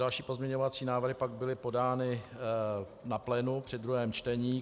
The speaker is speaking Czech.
Další pozměňovací návrhy pak byly podány na plénu při druhém čtení.